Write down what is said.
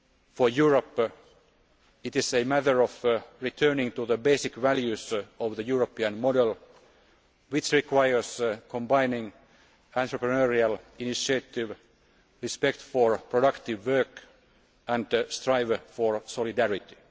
For Europe, it is a matter of returning to the basic values of the European model, which requires combining entrepreneurial initiatives, respect for productive work and striving for solidarity.